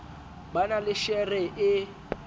ba na le shere e